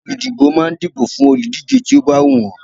Olùdìbò máa ń dìbò fún olùdíje tí ó bá wù wọ́n.